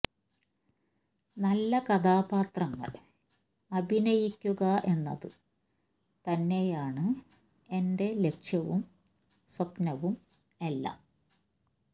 നല്ല കഥാപാത്രങ്ങൾ അഭിനയിക്കുക എന്നത് തന്നെയാണ് എന്റെ ലക്ഷ്യവും സ്വപ്നവും എല്ലാം